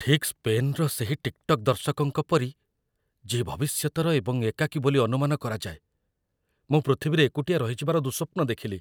ଠିକ୍ ସ୍ପେନ୍‌ର ସେହି ଟିକ୍‌ଟକ୍ ଦର୍ଶକଙ୍କ ପରି, ଯିଏ ଭବିଷ୍ୟତର ଏବଂ ଏକାକୀ ବୋଲି ଅନୁମାନ କରାଯାଏ, ମୁଁ ପୃଥିବୀରେ ଏକୁଟିଆ ରହିଯିବାର ଦୁଃସ୍ୱପ୍ନ ଦେଖିଲି